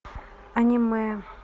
аниме